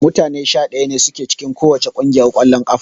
Mutane 11 ne sun ke cikin kowacce kungiyar kwallon kafa